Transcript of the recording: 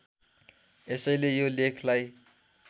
यसैले यो लेखलाई